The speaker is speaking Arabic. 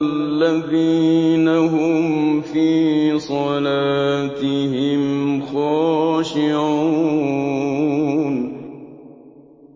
الَّذِينَ هُمْ فِي صَلَاتِهِمْ خَاشِعُونَ